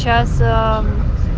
сейчас